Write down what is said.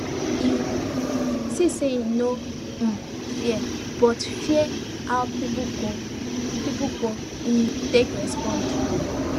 he see say e no um fair but fear how people go people go um take respond